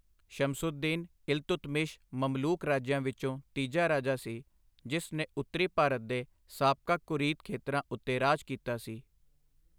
ਸ਼ਮਸਉਦਦੀਨ ਇਲਤੁਤਮਿਸ਼ ਮਮਲੂਕ ਰਾਜਿਆਂ ਵਿੱਚੋਂ ਤੀਜਾ ਰਾਜਾ ਸੀ, ਜਿਸ ਨੇ ਉੱਤਰੀ ਭਾਰਤ ਦੇ ਸਾਬਕਾ ਘੁਰੀਦ ਖੇਤਰਾਂ ਉੱਤੇ ਰਾਜ ਕੀਤਾ ਸੀ।